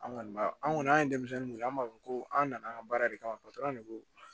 An kɔni b'a an kɔni an ye denmisɛnnin weele an b'a fɔ ko an nana an ka baara de kama ko